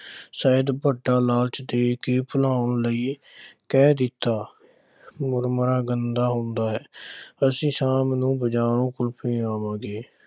ਸ਼ਾਇਦ ਵੱਡਾ ਲਾਲਾਚ ਦੇ ਕੇ ਭੁਲਾਉਣ ਲਈ ਕਹਿ ਦਿੱਤਾ ਮੁਰਮੁਰਾ ਗੰਦਾ ਹੁੰਦਾ ਹੈ ਅਸੀਂ ਸ਼ਾਮ ਬਜ਼ਾਰੋਂ ਕੁਲਫ਼ੀ ਖਾਵਾਂਗੇ।